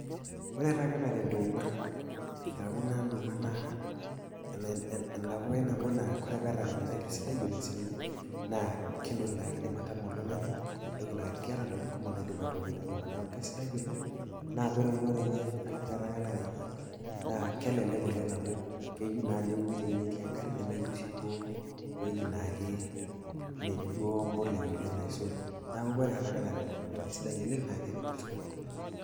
Kore taake enara entuuma, aaku naa nduuma naa entapukai nabo naa ore pee erakani naa esidai oleng' sii ninye, naa kentoki naa niindim atama oltung'ani, neata entokitin kumok naidim aitobira entuuma, neaku kesidai oleng'. Naa ore eunore enye arashu erakanare enye naa kelelek oleng' amu eyou naa neuni te ewueji natii enkare, nemeyou sii duo ewueji naake, metii naa duo empolea oleng' aisul, neaku kore erakanare enye naa elelek oleng' naake eretisho tolosho.